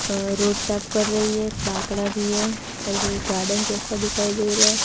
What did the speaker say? Road साफ कर रही है एक बाकडा भी है और कोई गार्डन जैसा दिखाई दे रहा है।